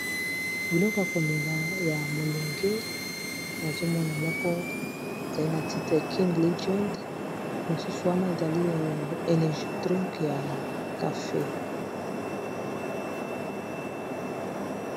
Biloko ya komela ya mulunge nazomona moko ezali na titre king legand, mosusu wana ezali energi drink ya cafe.